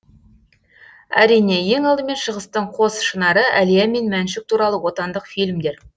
әрине ең алдымен шығыстың қос шынары әлия мен мәншүк туралы отандық фильмдер